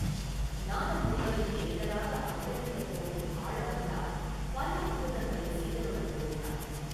நாதமுனிகளின் பேரராக அவதரிக்கப்போகும் ஆளவந்தார் பல அற்புதங்களைச் செய்தருளப் போகிறார்.